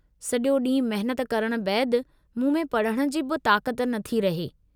सॼो ॾींहुं मेहनत करण बैदि, मूं में पढ़ण जी बि ताक़त नथी रहे।